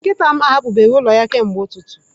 Nkịta m ahapụbeghị ụlọ ya kemgbe ụtụtụ.